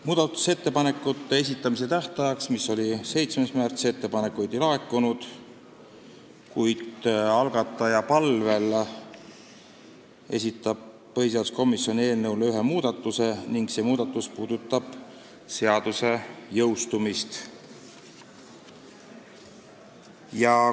Muudatusettepanekute esitamise tähtajaks, mis oli 7. märts, ettepanekuid ei laekunud, kuid algataja palvel esitas põhiseaduskomisjon eelnõu kohta ühe muudatuse ning see puudutab seaduse jõustumist.